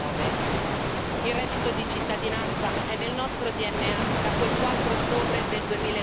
2009. Il reddito di cittadinanza è nel nostro DNA, da quel 4 ottobre del